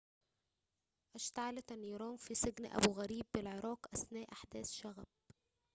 اشتعلت النيران في سجن أبو غريب بالعراق أثناء أحداث شغب